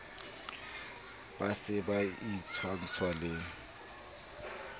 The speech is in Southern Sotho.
ba se ba itshwantsha le